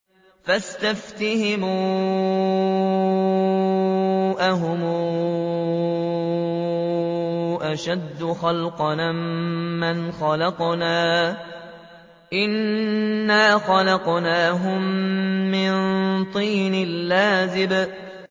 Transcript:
فَاسْتَفْتِهِمْ أَهُمْ أَشَدُّ خَلْقًا أَم مَّنْ خَلَقْنَا ۚ إِنَّا خَلَقْنَاهُم مِّن طِينٍ لَّازِبٍ